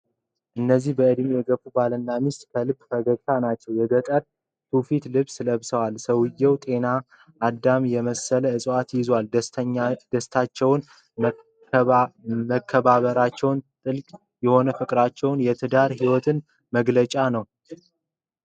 እነዚህ በዕድሜ የገፉ ባልና ሚስት ከልብ ፈገግታ ናቸው። የገጠር ትውፊት ልብስ ለብሰዋል። ሰውየው ጤና አዳም የመሰለ እፅዋት ይዟል። ደስታቸውና መከባበራቸው ጥልቅ የሆነ የፍቅርና የትዳር ሕይወት መገለጫ ነው።